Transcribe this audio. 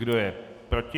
Kdo je proti?